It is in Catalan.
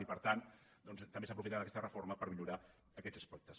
i per tant doncs també s’aprofita aquesta reforma per millorar aquests aspectes